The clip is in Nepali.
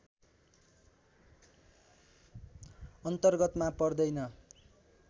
अन्तर्गतमा पर्दैन